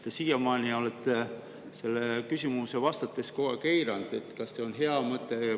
Te siiamaani olete vastates kogu aeg eiranud küsimust, kas see on hea mõte.